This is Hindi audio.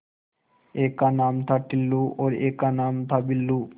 एक का नाम था टुल्लु और एक का नाम था बुल्लु